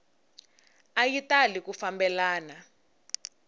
a yi tali ku fambelana